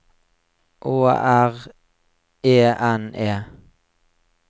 Å R E N E